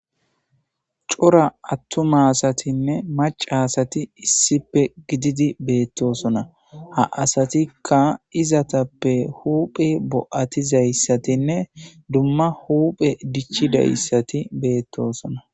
Cora atuma asatinne maca asat issipe gidid betosona ha asatika izetape hupge bo'atizayasatinne dumma dumma huphen dichidaysat betosona.